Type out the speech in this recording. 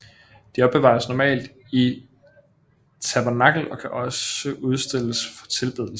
De opbevares normalt i et tabernakel og kan også udstilles for tilbedelse